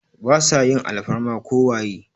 Ba sa yin alfarma ko waye.